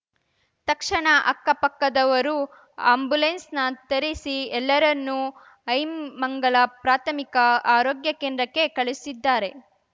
ತಕ್ಷಣ ಅಕ್ಕಪಕ್ಕದವರು ಆ್ಯಂಬುಲೆನ್ಸ್‌ ನ ತರಿಸಿ ಎಲ್ಲರನ್ನು ಐಮಂಗಲ ಪ್ರಾಥಮಿಕ ಆರೋಗ್ಯ ಕೇಂದ್ರಕ್ಕೆ ಕಳಿಸಿದ್ದಾರೆ